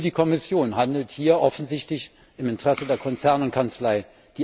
Nur die Kommission handelt hier offensichtlich im Interesse der Konzerne und Kanzleien.